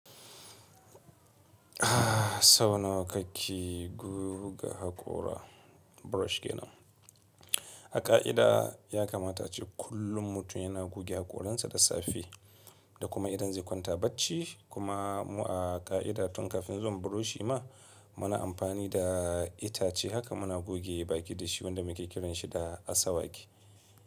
Sau nawa kake guga haƙora brush ke nan? A ƙa'ida ya kamata ce kullum mutum yana guge haƙoransa da safe da kuma idan zai kwanta bacci. Kuma mu a ƙa'ida tun kafin zuwan buroshi ma muna amfani da itace haka muna guge baki da shi wanda muke kiranshi da asawaki.